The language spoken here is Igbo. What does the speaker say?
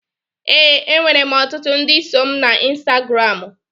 Ee, enwere m ọtụtụ ndị so mụ na Insitagaram